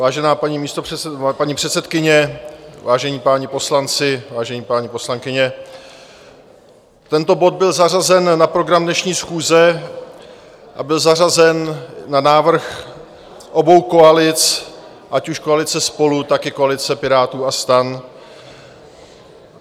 Vážená paní předsedkyně, vážení páni poslanci, vážené paní poslankyně, tento bod byl zařazen na program dnešní schůze a byl zařazen na návrh obou koalic, ať už koalice SPOLU, tak i koalice Pirátů a STAN.